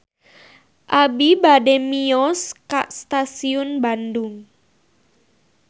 Abi bade mios ka Stasiun Bandung